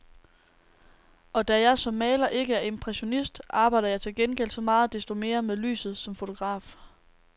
Og da jeg som maler ikke er impressionist, arbejder jeg til gengæld så meget desto mere med lyset som fotograf.